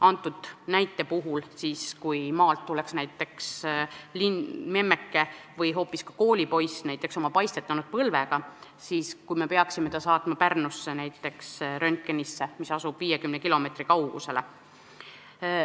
Antud näite puhul: kui maalt tuleb näiteks memmeke või hoopis koolipoiss oma paistetanud põlvega, siis peaks ta praegu saatma röntgenisse Pärnusse, mis asub 50 kilomeetri kaugusel.